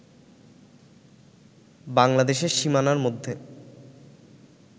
বাংলাদেশের সীমানারমধ্যে